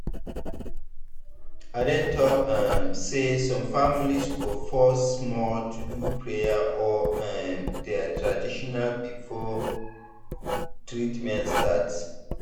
i dey talk um say some families go pause small to do prayer or um their tradition before treatment start.